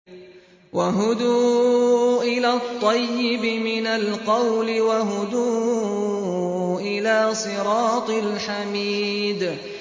وَهُدُوا إِلَى الطَّيِّبِ مِنَ الْقَوْلِ وَهُدُوا إِلَىٰ صِرَاطِ الْحَمِيدِ